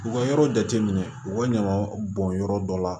U ka yɔrɔ jateminɛ u ka ɲama bɔn yɔrɔ dɔ la